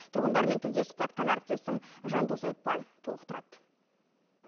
түрғындармен тілдесіп қайтқан әріптесім жандос айтбай толықтырады